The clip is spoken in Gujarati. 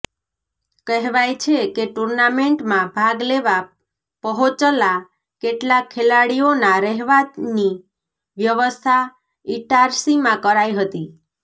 કહેવાય છે કે ટુર્નામેન્ટમાં ભાગ લેવા પહોંચલા કેટલાંક ખેલાડીઓના રહેવાની વ્યવસ્થા ઇટારસીમાં કરાઇ હતી